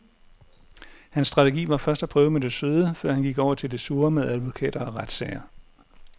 Hans strategi var først at prøve med det søde, før han gik over til det sure med advokater og retssager.